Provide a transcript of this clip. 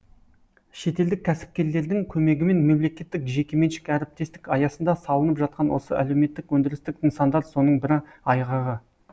шетелдік кәсіпкерлердің көмегімен мемлекеттік жекеменшік әріптестік аясында салынып жатқан осы әлеуметтік өндірістік нысандар соның бір айғағы